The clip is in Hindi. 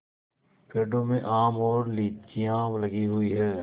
पेड़ों में आम और लीचियाँ लगी हुई हैं